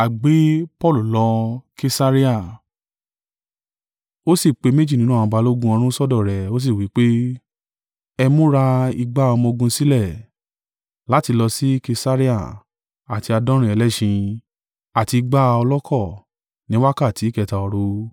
Ó sì pe méjì nínú àwọn balógun ọ̀run sọ́dọ̀ rẹ̀, ó sì wí pé, “Ẹ múra igba ọmọ-ogun sílẹ̀, láti lọ sí Kesarea, àti àádọ́rin ẹlẹ́ṣin, àti igba ọlọ́kọ̀, ní wákàtí kẹta òru.